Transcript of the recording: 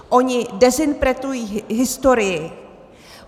Oni dezinterpretují historii.